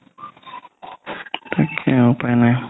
তাকেই আৰু উপাই নাই